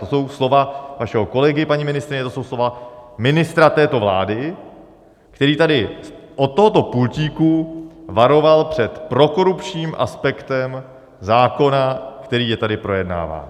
To jsou slova vašeho kolegy, paní ministryně, to jsou slova ministra této vlády, který tady od tohoto pultíku varoval před prokorupčním aspektem zákona, který je tady projednáván.